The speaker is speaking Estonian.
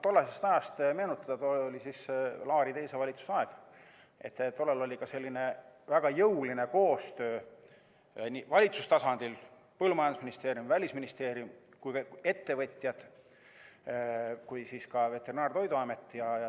Tollast aega meenutades, oli Laari teise valitsuse aeg ja oli väga jõuline koostöö valitsuse tasandil: põllumajandusministeerium, välisministeerium, ettevõtjad ning ka veterinaar‑ ja toiduamet.